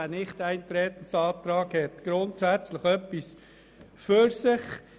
Der Nichteintretensantrag hat grundsätzlich etwas für sich.